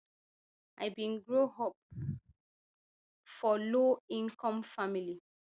i bin grow up for low income family